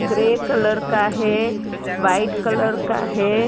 Grey colour का है white colour का है।